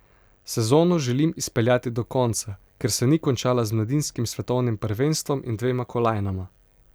Sezono želim izpeljati do konca, ker se ni končala z mladinskim svetovnim prvenstvom in dvema kolajnama.